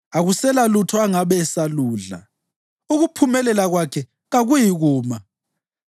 Akusela lutho angabe esaludla; ukuphumelela kwakhe kakuyikuma.